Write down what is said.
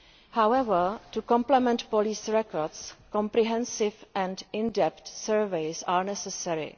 However, to complement police records, comprehensive and in depth surveys are necessary.